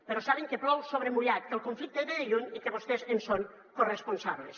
però saben que plou sobre mullat que el conflicte ve de lluny i que vostès en són corresponsables